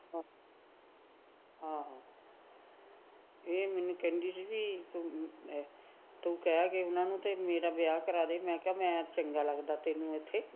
ਹਾਂ ਇਹ ਮੈਨੂੰ ਕਹਿੰਦੀ ਸੀਗੀ ਵੀ ਤੂੰ ਕਹਿ ਉਹਨਾ ਨੂੰ ਵੀ ਮੇਰਾ ਵਿਆਹ ਕਰਾਦੇ ਮੈ ਕਿਹਾ ਮੈ ਚੰਗਾ ਲੱਗਦਾ ਤੈਨੀੰ ਉਥੇ